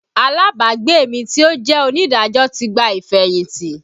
Alábàágbé mi tí ó jẹ́ onídàájọ́ ti gba ìfẹ̀yìntì